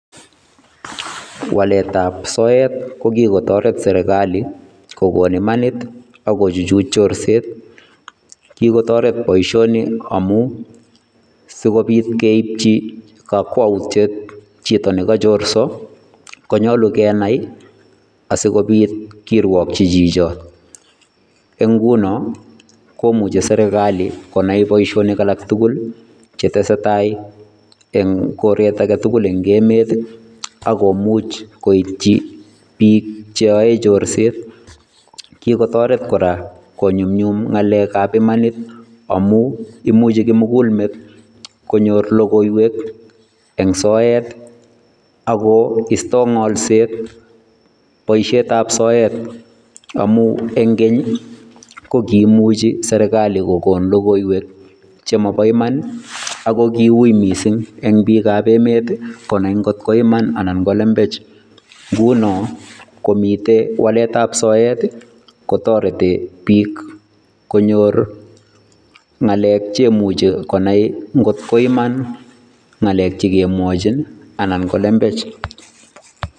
walet ab soet kogigotoret sergali kogon imanit ak kochuchuj chorset, kigotoret boishioni amun sigobit keibji kokwoutiet jito negochorso konyolu kenai asigobit kirwokji jijon, eng inguno komuche sergali konai boisionik alaktugul chetesetai eng koret agetugul eng emeet ak komuch koityi biik cheyoe chorset, kikotoret kora konyumyum ng'alek ab imanit amun imuji kimugulmet konyor logoiwek en soet ago istoi ng'olset boisiet ab soet amun eng keny kokimuji sergali kogon lgoiwek chemobo iman ago kiui missing en biik ab emeet konai kotko iman anan ko lembech, ngunon ingomiten walet ab soet kotoreti biik konyor ng'alek cheimuche konai ng'otko iman ng'alek chegemwoe anan lembech.